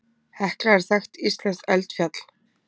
Hekla er þekkt íslenskt eldfjall.